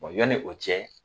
O yanni o cɛ